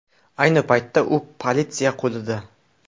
Ayni paytda u politsiya qo‘lida.